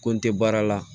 Ko n te baara la